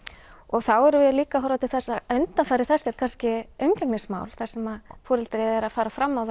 þá erum við líka að horfa til þess að undanfari þess er kannski umgengismál þar sem foreldrið er að fara fram á